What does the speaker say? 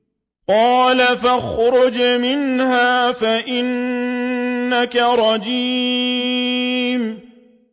قَالَ فَاخْرُجْ مِنْهَا فَإِنَّكَ رَجِيمٌ